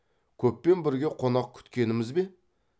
көппен бірге қонақ күткеніміз бе